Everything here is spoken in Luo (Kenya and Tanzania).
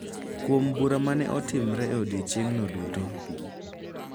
Kuom bura ma ne otimore e odiechieng’no duto